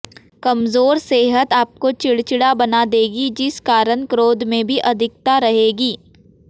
कमजोर सेहत आपको चिड़चिड़ा बना देगी जिस कारण क्रोध में भी अधिकता रहेगी